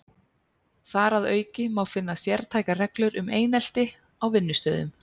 Þar að auki má finna sértækar reglur um einelti á vinnustöðum.